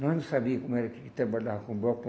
Nós não sabia como era que trabalhava com bloco.